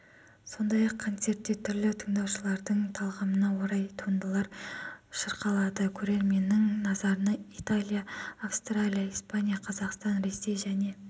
сондай-ақ концертте түрлі тыңдаушылардың талғамына орай туындылар шырқалады көрерменнің назарына италия австрия испания қазақстан ресей және